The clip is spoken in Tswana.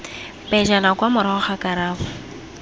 pejana kwa morago ga karabo